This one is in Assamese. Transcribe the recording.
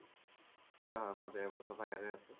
হয় হয় মই দেৰ ব্ছৰৰ পাই ইয়াতে আছো